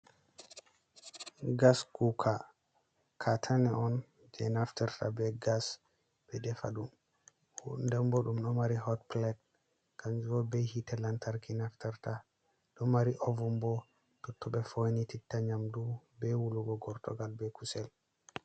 Gas kuka, katine on je naftirta be gas ɓe defa ɗum, den bo ɗum ɗo mari hot plate kanju bo hitte lantarki nafturta, ɗo mari ovun bo totton ɓe foinitita nyamdu be wulugo gortugal, ɓe kusel.